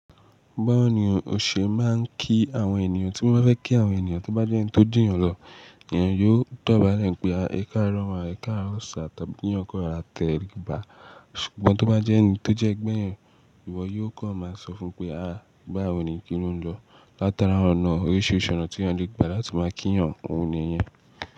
Báwo ni o ṣe máa ń kí àwọn ènìyàn tí mo bá fẹ́ kí àwọn ènìyàn tó bá jẹ́ ẹni tó ju eeyàn lọ, èèyàn yóò dọ̀bálẹ̀ pé, "Ẹ káàárọ̀ má, ẹ káàárọ̀ sir," tàbí "kí eeyàn kó rora tẹríba." Ṣùgbọ́n tó bá jẹ́ ẹni tó jẹ́ gbẹ̀ eeyan, ìwọ yóò kó máa sọ fún un pé, "A báwo ni kí o lọ?" Látara ọ̀nà oríṣiríṣi ọ̀nà tí eeyan le gbà lati máa kí èèyàn ní yẹn.